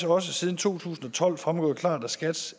også siden to tusind og tolv fremgået klart af skats